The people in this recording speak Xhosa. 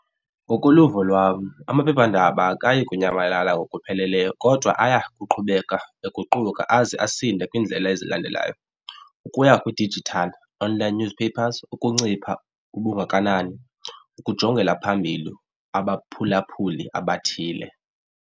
Ngokoluvo lwam amaphephandaba akayi kunyamalala ngokupheleleyo kodwa aya kuqhubeka eguquka aze asinde kwiindlela ezilandelayo ukuya kwi-digital online newspapers, ukuncipha ubungakanani, ukujongela phambili abaphulaphuli abathile.